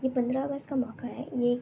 ये पन्द्रा अगस्त का मोका है एक --